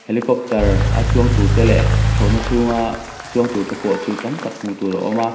helicopter a chuang tur te leh thlawhna chhunga chuang tur te pawh chu tam tak hmuh tur a awm a--